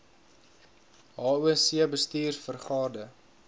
hoc bestuurs vergade